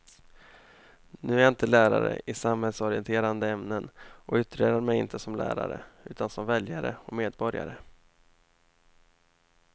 Nu är jag inte lärare i samhällsorienterande ämnen och yttrar mig inte som lärare utan som väljare och medborgare.